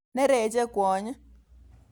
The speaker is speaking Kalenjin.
Nereche kwony.